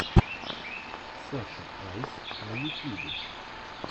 саша айс на ютюбе